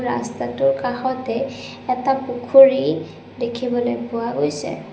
ৰাস্তাটোৰ কাষতে এটা পুখুৰী দেখিবলৈ পোৱা গৈছে।